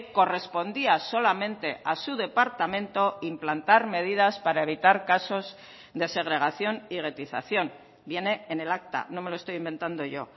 correspondía solamente a su departamento implantar medidas para evitar casos de segregación y guetización viene en el acta no me lo estoy inventando yo